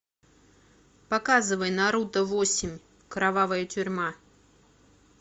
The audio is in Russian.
показывай наруто восемь кровавая тюрьма